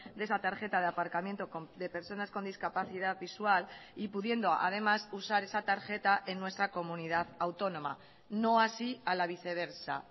de esa tarjeta de aparcamiento de personas con discapacidad visual y pudiendo además usar esa tarjeta en nuestra comunidad autónoma no así a la viceversa